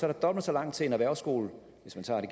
er dobbelt så langt til en erhvervsskole hvis man tager det